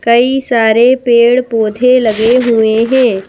कई सारे पेड़-पौधे लगे हुए हैं।